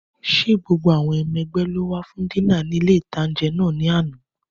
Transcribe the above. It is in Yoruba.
Ṣé gbogbo àwọn ọmọ ẹ̀gbẹ́ ló wá fún dínà ní ilé-ìtánjẹ náà ní àná?